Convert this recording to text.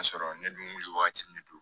Ka sɔrɔ ne dun wuli wagati ne don